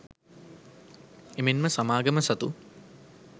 එමෙන්ම සමාගම සතු